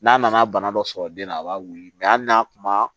N'a nana bana dɔ sɔrɔ den na a b'a wili ali n'a kuma